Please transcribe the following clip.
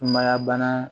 Sumaya bana